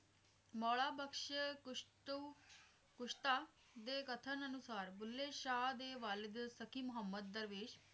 ਮੌਲਾ ਬਖਸ਼ ਕੁਸ਼ਤੂ ਕੁਸ਼ਤਾ ਦੇ ਕਥਨ ਅਨੁਸਾਰ ਬੁੱਲੇ ਸ਼ਾਹ ਦੇ ਵਾਲੀਗ ਸਖੀ ਮਹੁੰਮਦ ਦਰਵੇਸ਼